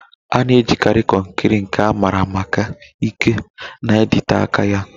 A na-ejikarị konkiri, nke a maara maka ike na ịdịte aka ya